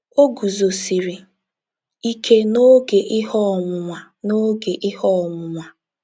O Guzosiri Ike n'oge ihe ọnwụnwa n'oge ihe ọnwụnwa